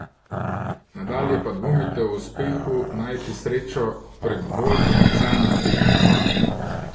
Nadalje pa dvomite o uspehu najti srečo prek bolj komercialnih teženj.